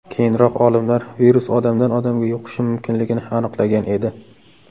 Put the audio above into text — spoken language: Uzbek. Keyinroq olimlar virus odamdan odamga yuqishi mumkinligini aniqlagan edi.